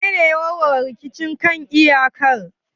Wanene ya warware rikicin kan iyakar?